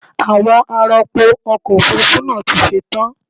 Àwọn ar'ọpò ọkọ̀ Òfurufú náà ti ṣe tán.